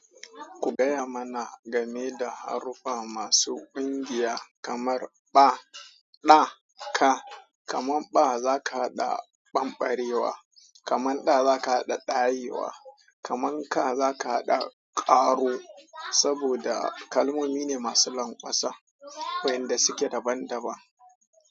Ku gaya mana game da haruffa masu ƙungiya kamar ɓa, ɗa, ka. Kamar ɓa zaka haɗa ɓambarewa, kamar ɗa zaka haɗa ɗayewa, kamar ka zaka haɗa ƙaro. Saboda kalmomi ne masu lanƙwasa wayanda suke daban daban.